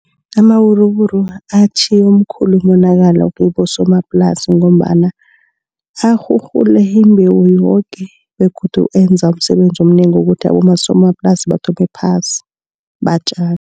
Amawuruwuru atjhiye umkhulu umonakalo kibosomaplasi ngombana arhurhule imbewu yoke begodu enza umsebenzi omnengi wokuthi abosomaplasi bathome phasi batjale.